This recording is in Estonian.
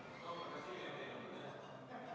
Seda ütles juba ka Jürgen Ligi siin täna üsna teravalt.